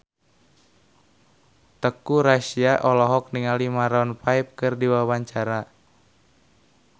Teuku Rassya olohok ningali Maroon 5 keur diwawancara